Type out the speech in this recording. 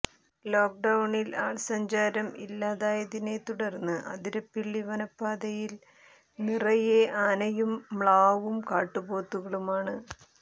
ലോക്ഡൌണിൽ ആൾസഞ്ചാരം ഇല്ലാതായതിനെത്തുടർന്ന് അതിരപ്പിള്ളി വനപാതയിൽ നിറയെ ആനയും മ്ലാവും കാട്ടുപോത്തുകളുമാണ്